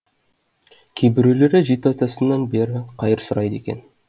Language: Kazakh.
кейбіреулері жеті атасынан бері қайыр сұрайды екен